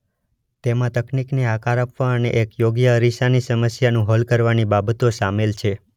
તેમાં તકનીકને આકાર આપવા અને એક યોગ્ય અરીસાની સમસ્યાનું હલ કરવાની બાબતો સામેલ છે.